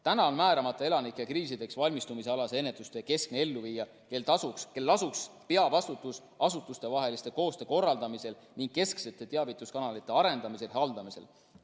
Praegu on määramata elanike kriisideks valmistumise alase ennetustöö keskne elluviija, kellel lasuks peavastutus asutustevahelise koostöö korraldamisel ning kesksete teavituskanalite arendamisel ja haldamisel.